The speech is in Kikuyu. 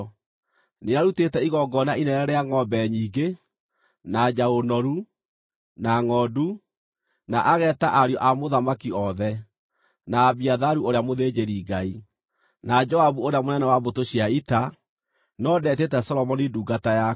Nĩarutĩte igongona inene rĩa ngʼombe nyingĩ, na njaũ noru, na ngʼondu, na ageeta ariũ a mũthamaki othe, na Abiatharu ũrĩa mũthĩnjĩri-Ngai, na Joabu ũrĩa mũnene wa mbũtũ cia ita, no ndetĩte Solomoni ndungata yaku.